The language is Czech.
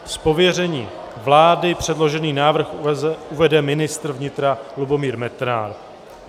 Z pověření vlády předložený návrh uvede ministr vnitra Lubomír Metnar.